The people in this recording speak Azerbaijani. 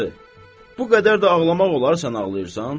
bu qədər də ağlamaq olar sən ağlayırsan?